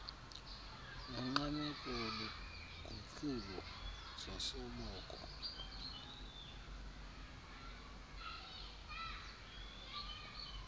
nongqameko logutyulo zosoloko